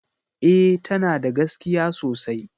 E, tana da gaskiya sosai